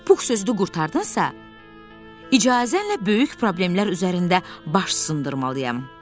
Pux sözü də qurtardınsa, icazənlə böyük problemlər üzərində baş sındırmalıyam.